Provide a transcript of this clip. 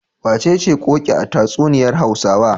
Wacece Ƙoƙi a tatsuniyar Hausawa?